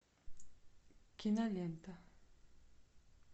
кинолента